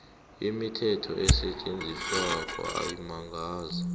imithetho esetjenziswako amazinga